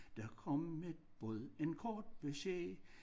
Der kom et bud en kort besked